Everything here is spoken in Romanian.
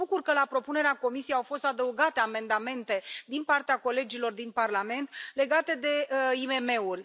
Mă bucur că, la propunerea Comisiei, au fost adăugate amendamente din partea colegilor din Parlament legate de IMM uri.